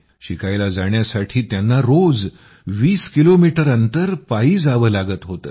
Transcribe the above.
शिकायला जाण्यासाठी त्यांना रोज 20 किलोमीटर अंतर पायी जावं लागत होतं